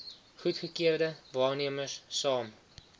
goedgekeurde waarnemers saam